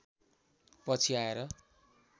पछि आएर